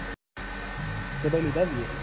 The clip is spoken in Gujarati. તો પછી લીધા તીયે.